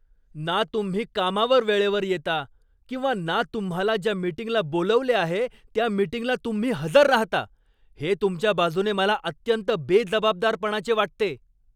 ना तुम्ही कामावर वेळेवर येता किंवा ना तुम्हाला ज्या मीटिंगला बोलावले आहे त्या मीटिंगला तुम्ही हजर राहता, हे तुमच्या बाजूने मला अत्यंत बेजबाबदारपणाचे वाटते.